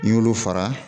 N'i y'olu fara